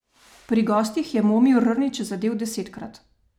Pri gostih je Momir Rnić zadel desetkrat.